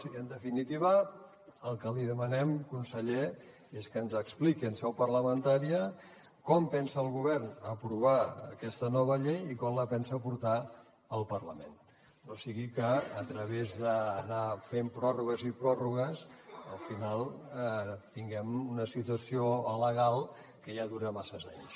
i en definitiva el que li demanem conseller és que ens expliqui en seu parlamentària com pensa el govern aprovar aquesta nova llei i quan la pensa portar al parlament no sigui que a través d’anar fent pròrrogues i pròrrogues al final tinguem una situació alegal que ja dura masses anys